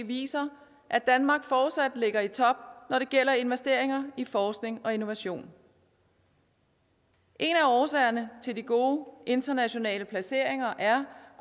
viser at danmark fortsat ligger i top når det gælder investeringer i forskning og innovation en af årsagerne til de gode internationale placeringer er